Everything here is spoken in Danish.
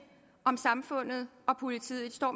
om samfundet og politiet det står